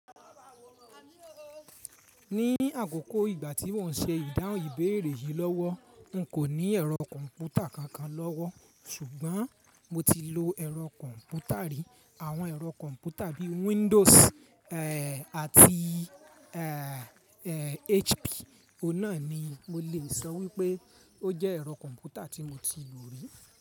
Ní àkókò ìgbà tí mò ń ṣe ìdáhùn ìbéèrè yìí lọ́wọ́, n kò ní ẹ̀rọ kọ̀ǹpútà kankan lọ́wọ́, ṣùgbọ́n mo ti lo ẹ̀rọ kọ̀ǹpútà rí. Àwọn ẹ̀rọ kọ̀ǹpútà bí i Windows àti eh HP, ohun náà ni mo lè sọ wípé ó jẹ́ ẹ̀rọ kọ̀ǹpútà tí mo ti lò rí.